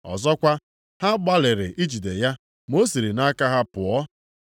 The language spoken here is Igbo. Ọzọkwa, ha gbalịrị ijide ya ma ọ siri nʼaka ha pụọ.